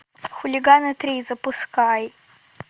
хулиганы три запускай